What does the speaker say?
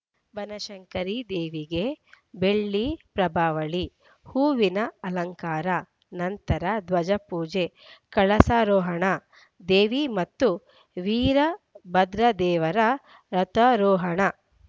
ಬನಶಂಕರಿ ದೇವಿಗೆ ಬೆಳ್ಳಿ ಪ್ರಭಾವಳಿ ಹೂವಿನ ಅಲಂಕಾರ ನಂತರ ಧ್ವಜಪೂಜೆ ಕಳಸಾರೋಹಣ ದೇವಿ ಮತ್ತು ವೀರಭದ್ರದೇವರ ರಥರೋಹಣ